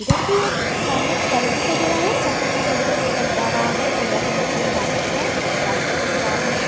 इधर भी एक सामने एक सड़क दिखाई दे रहा है सड़क में एक महिला चलकर जा रहा है महिला के मुख में मास्क भी है रास्ता के सामने --